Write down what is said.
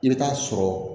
I bɛ taa sɔrɔ